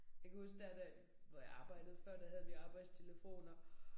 Jeg kan huske der hvor jeg arbejdede før der havde vi arbejdstelefoner